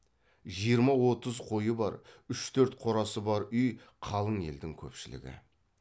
жиырма отыз қойы бар үш төрт қорасы бар үй қалың елдің көпшілігі